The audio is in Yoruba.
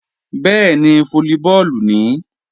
Bẹ́ẹ̀ni, fólíbọọ̀lù nìí